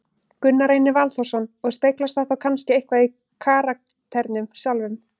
Gunnar Reynir Valþórsson: Og speglast það þá kannski eitthvað í karakternum sjálfum?